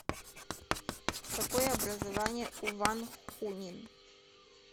какое образование у ван хунин